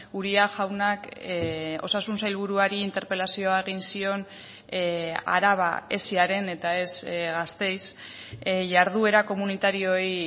uria jaunak osasun sailburuari interpelazioa egin zion araba esiaren eta ez gasteiz jarduera komunitarioei